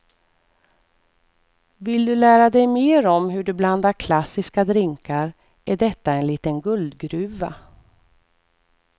Vill du lära dig mer om hur du blandar klassiska drinkar är detta en liten guldgruva.